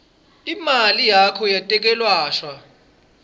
imali yakho yetekwelashwa